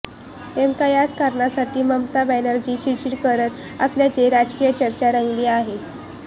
नेमक्या याच कारणांसाठी ममता बॅनर्जी चिडचिड करत असल्याची राजकीय चर्चा रंगली आहे